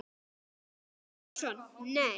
Sveinn Jónsson Nei.